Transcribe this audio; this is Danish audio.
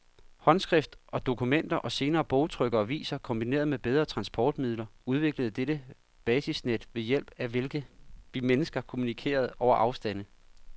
Håndskrift og dokumenter, og senere bogtryk og aviser, kombineret med bedre transportmidler udviklede dette basisnet ved hjælp af hvilket vi mennesker kommunikerede over afstande.